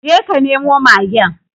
Je ka nemo magen